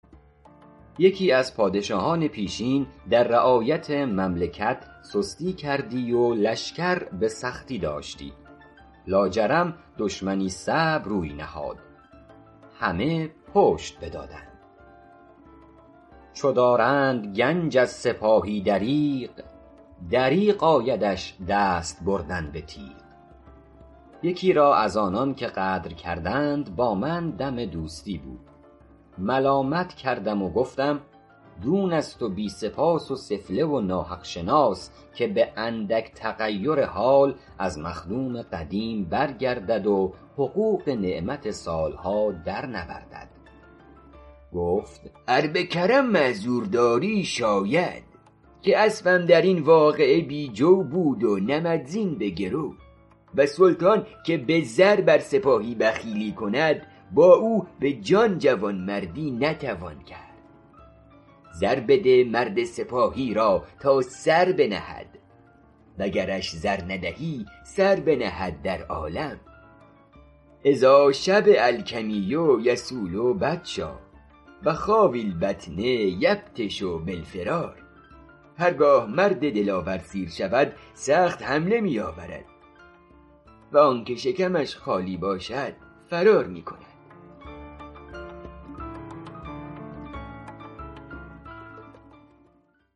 یکی از پادشاهان پیشین در رعایت مملکت سستی کردی و لشکر به سختی داشتی لاجرم دشمنی صعب روی نهاد همه پشت بدادند چو دارند گنج از سپاهی دریغ دریغ آیدش دست بردن به تیغ یکی را از آنان که غدر کردند با من دم دوستی بود ملامت کردم و گفتم دون است و بی سپاس و سفله و ناحق شناس که به اندک تغیر حال از مخدوم قدیم برگردد و حقوق نعمت سال ها در نوردد گفت ار به کرم معذور داری شاید که اسبم در این واقعه بی جو بود و نمدزین به گرو و سلطان که به زر بر سپاهی بخیلی کند با او به جان جوانمردی نتوان کرد زر بده مرد سپاهی را تا سر بنهد و گرش زر ندهی سر بنهد در عالم اذا شبع الکمی یصول بطشا و خاوی البطن یبطش بالفرار